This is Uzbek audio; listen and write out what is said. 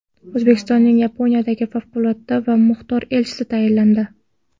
O‘zbekistonning Yaponiyadagi favqulodda va muxtor elchisi tayinlandi.